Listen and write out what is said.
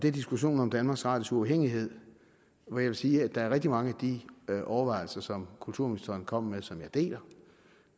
er diskussionen om danmarks radios uafhængighed hvor jeg vil sige at der er rigtig mange af de overvejelser som kulturministeren kom med som jeg deler